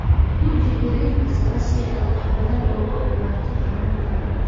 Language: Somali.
Guji xiriirka sare si aad wax badan uga ogaato xanuunkan.